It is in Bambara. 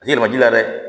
A tɛ yɛlɛma ji la dɛ